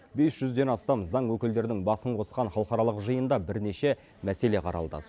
бес жүзден астам заң өкілдерінің басын қосқан халықаралық жиында бірнеше мәселе қаралды